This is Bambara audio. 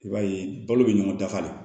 I b'a ye balo bɛ ɲɔgɔn dafa de